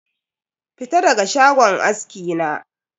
Fita daga shagon aski na?